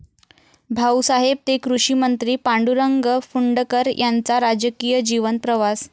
भाऊसाहेब ते कृषीमंत्री, पांडुरंग फुंडकर यांचा राजकीय जीवन प्रवास...